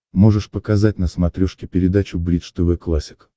можешь показать на смотрешке передачу бридж тв классик